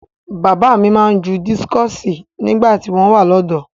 Bàbá mi máa ń ju dískọ̀sì nígbà tí wọ́n wà lọ́dọ̀ọ́.